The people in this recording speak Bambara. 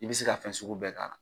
I bɛ se ka fɛn sugu bɛɛ k'a la.